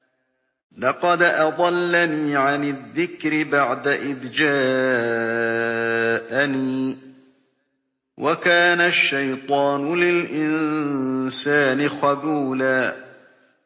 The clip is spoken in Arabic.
لَّقَدْ أَضَلَّنِي عَنِ الذِّكْرِ بَعْدَ إِذْ جَاءَنِي ۗ وَكَانَ الشَّيْطَانُ لِلْإِنسَانِ خَذُولًا